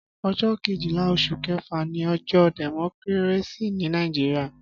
Ọjọ kéjilà óṣú kẹfà ni ọjọ dẹmọkìrésí ni Nàijiriá